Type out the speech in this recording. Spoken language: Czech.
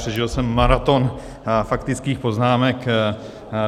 Přežil jsem maraton faktických poznámek.